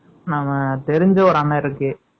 நம்ம, தெரிஞ்ச, ஒரு அண்ணன் இருக்கு